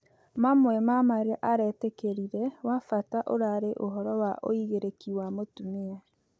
Mamwe ma marĩa aretĩkĩrĩre wa bata ũrarĩ ũhoro wa ũĩgĩrĩkĩ wa mũtũmĩa